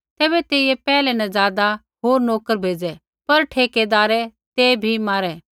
तैबै तेइयै पैहलै न ज़ादा होर नोकर भेज़ै पर ठेकैदारै ते भी मारै